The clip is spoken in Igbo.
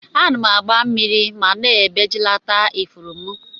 Ana agba mmiri ma na ebejilat ifuru mu.